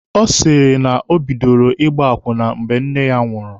Ọ sị na o bidoro ịgba akwụna mgbe nne ya nwụrụ.